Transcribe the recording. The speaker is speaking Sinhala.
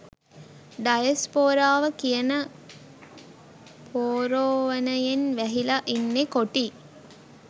ඩයස්පෝරාව කියන පෝරෝවනයෙන් වැහිලා ඉන්නේ කොටි